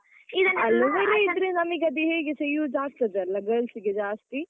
Aloevera ಇದ್ರೆ ನಮ್ಗೆ ಅದು ಹೇಗೆಸ use ಆಗ್ತದಲ್ಲ girls ಗೆ ಜಾಸ್ತಿ.